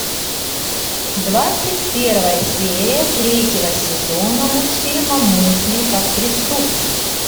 двадцать первая серия третьего сезона мультфильма мысли как преступник